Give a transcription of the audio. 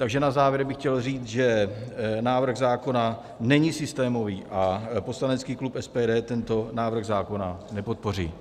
Takže na závěr bych chtěl říct, že návrh zákona není systémový a poslanecký klub SPD tento návrh zákona nepodpoří.